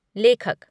लेखक